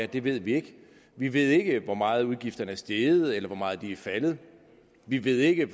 det ved vi ikke vi ved ikke hvor meget udgifterne er steget eller hvor meget de er faldet vi ved ikke